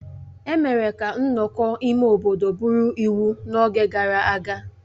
Emere ka nnọkọ ime obodo bụrụ iwu n'oge gara aga